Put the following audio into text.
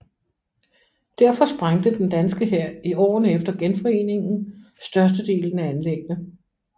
Derfor sprængte den danske hær i årene efter genforeningen størstedelen af anlæggene